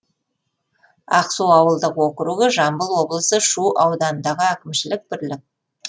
ақсу ауылдық округі жамбыл облысы шу ауданындағы әкімшілік бірлік